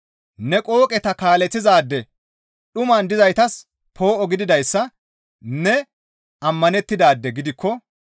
ne qooqeta kaaleththizaade; dhuman dizaytas poo7o gididayssa ne ammanettidaade gidikko